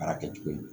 Baara kɛcogo ye